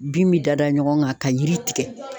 Bin bi da da ɲɔgɔn kan ka yiri tigɛ